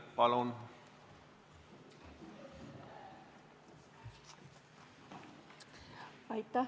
Palun!